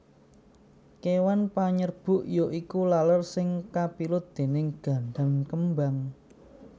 Kéwan panyerbuk ya iku laler sing kapilut déning gandan kembang